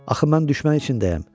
Axı mən düşmən içindəyəm.